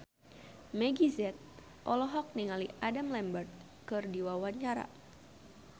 Meggie Z olohok ningali Adam Lambert keur diwawancara